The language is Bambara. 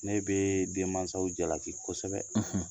Ne bɛ den mansaw jalaki kosɛbɛ.